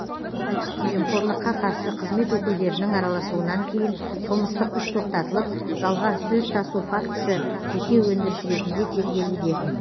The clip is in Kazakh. жемқорлыққа қарсы қызмет өкілдерінің араласуынан кейін қылмыстық іс тоқтатылып жалған сөз тасу фактісі жеке өндіріс ретінде тергелуде